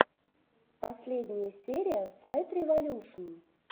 последняя серия файтреволюшн